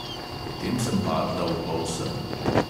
Potem sem padla v polsen.